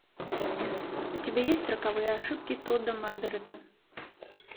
у тебя есть роковые ошибки тодда маргарета